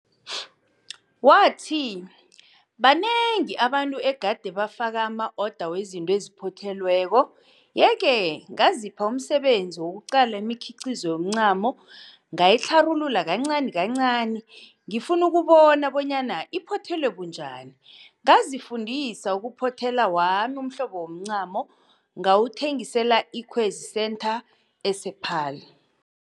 Wathi, Banengi abantu egade bafaka ama-oda wezinto eziphothelweko. Ye-ke ngazipha umsebenzi wokuqala imikhiqizo yomncamo ngayitlharulula kancani kancani ngifuna ukubona bonyana iphothelwe bunjani. Ngazifundisa uku- phothela wami umhlobo womncamo ngawuthengisela e-Ikwezi Centre ese-Paarl.